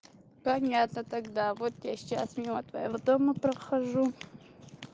понятно тогда вот я сейчас мимо твоего дома прохожу